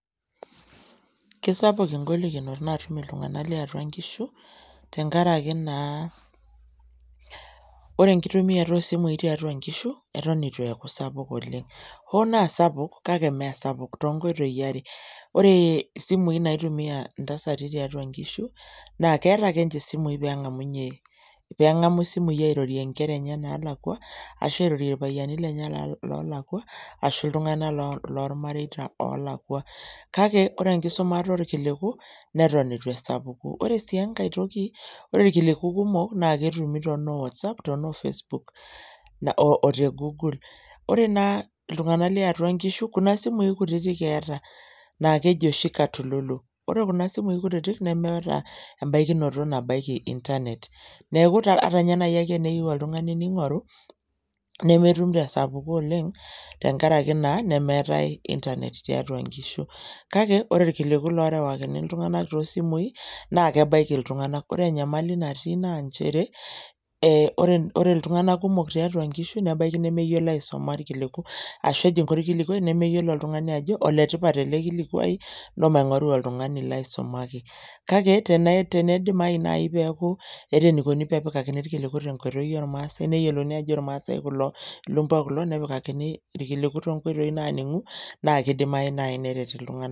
Kisapuk engolikinoto natum iltunganak lotii atua nkishu tenkaraki naa ore enkituamita osimui tiatua nkishu neton itu eaku sapuk oleng hoo naa sapuk kake mmee sapuk toonkoitoi are ore isimui naitumia ntasati tiatua nkishu naa keeta ake nche nkishu pengamunyie airorie nkera enye nalakwa ashu irorie irpayiani lenye lolakwa ashu iltunganak lormareita lolakwa kake ore enkisumata orkiliku neton itu esapuku . Ore sii enkae toki ore irkiliku kumok naa ketumi tonowhatsapp tonoo otegoogle ,ore naa iltunganak liatua nkishu kuna simui kutitik eeta naa keji oshi katululu, ore kuna simui kutiti nemeeta embaikinoto nabaiki internet , neku ata nai ake teneyieu oltungani ningoru nemetum tesapuko oleng tenkaraki naa nemeetae internet tiatua nkishu , kake ore irkiliku lorewakini iltunganak tosimui naa kebaiki iltunganak . Ore enyamali natii nchere naa ore iltunganak ebaiki nemeyiolo aisuma irkiliku ashu ejingu orkiliku nemeyiolo oltungani ajo oletipat ele kilikwai ntoo maingoru oltungani laisumaki , kake tenidimayu nai peku eeta enaiko pepikani iltunganak ternkoitoi naaningu naa kidimayu nai neret iltunganak.